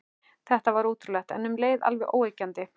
Þetta var ótrúlegt, en um leið alveg óyggjandi.